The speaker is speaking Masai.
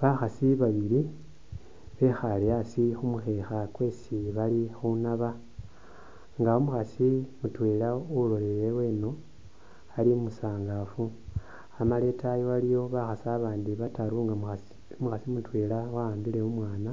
Bakhasi babili bekhale asi khumukhekha kwesi bali khunaba nga umukhasi mutwela uloleleye lweno ali musangafu amala itayi waliyo bakhasi abandi bataru nga umukhasi mutwela wa’ambile umwana